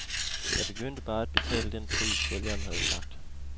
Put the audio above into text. Jeg begyndte bare at betale den pris, sælgeren havde sagt.